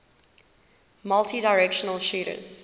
multidirectional shooters